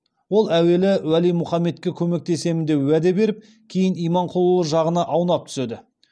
ол әуелі уәли мұхаммедке көмектесемін деп уәде беріп кейін иманқұлы жағына аунап түседі